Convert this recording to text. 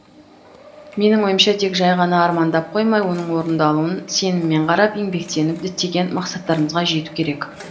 менің ойымша тек жай ғана армандап қоймай оның орындалуын сеніммен қарап еңбектеніп діттеген мақсаттарымызға жету керек